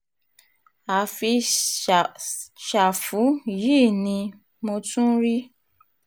àfi ṣáfù yìí ni um mo tún rí